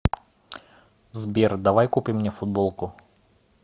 сбер давай купим мне футболку